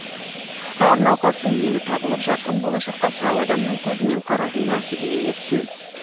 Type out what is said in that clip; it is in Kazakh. әр науқастың емі табылып жарқын болашаққа сау адамның көзімен қарауды нәсібе етсін